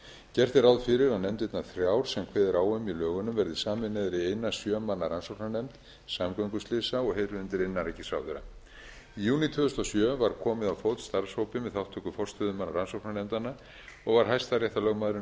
gert er ráð fyrir að nefndirnar þrjár sem kveðið er á um í lögunum verði sameinaðar í eina sjö manna rannsóknarnefnd samgönguslysa og heyri undir innanríkisráðherra í júní tvö þúsund og sjö var komið á fót starfshópi með þátttöku forstöðumanna rannsóknarnefndanna og var hæstaréttarlögmaðurinn